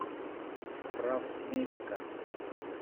справмедика